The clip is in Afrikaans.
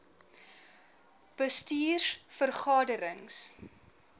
bestuurs vergade rings